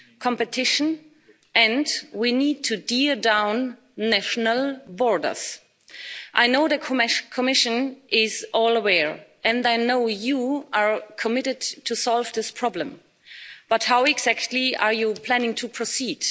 competition and we need to tear down national borders. I know the Commission is well aware and I know you are committed to solve this problem. But how exactly are you planning to proceed?